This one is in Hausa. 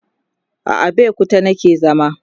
a Abeokuta nake zama